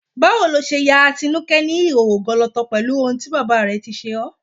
Báwo lo ṣe ya Atinúkẹ́ ní ìhòòhò gọlọtọ pẹ̀lú ohun tí bàbá rẹ̀ tí ṣe ọ́?